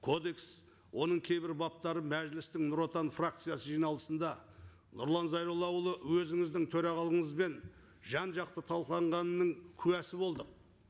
кодекс оның кейбір баптары мәжілістің нұр отан фракциясы жиналысында нұрлан зайроллаұлы өзіңіздің төрағалығыңызбен жан жақты талқыланғанының куәсі болдық